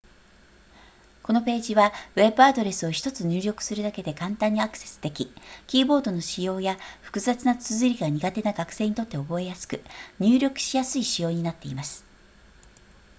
このページはウェブアドレスを1つ入力するだけで簡単にアクセスできキーボードの使用や複雑な綴りが苦手な学生にとって覚えやすく入力しやすい仕様になっています